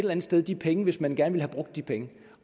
andet sted de penge hvis man gerne ville have brugt de penge